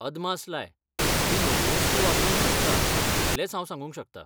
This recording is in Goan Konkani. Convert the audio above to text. अदमास लाय ! तूं म्हज्यो वस्तू वापरूंक शकता इतलेंच हांव सांगूंक शकता.